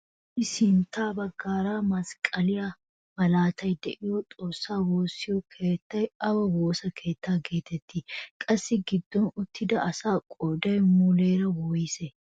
Issi sintta baggaara masqqaliyaa malaatay de'iyoo xoossaa woossiyoo keettay awa woossa keettaa getettii? qassi giddon uttida asaa qooday muleera woyssee?